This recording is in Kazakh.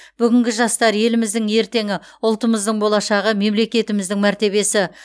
бүгінгі жастар еліміздің ертеңі ұлтымыздың болашағы мемлекетіміздің мәртебесі